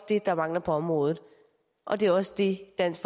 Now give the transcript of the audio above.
det der mangler på området og det er også det dansk